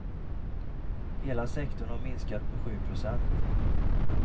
Hela sektorn har minskat med sju procent.